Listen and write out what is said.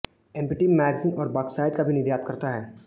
empty manganese और bauxite का भी निर्यात करता है